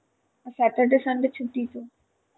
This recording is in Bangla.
Saturday Sunday ছুটি তো?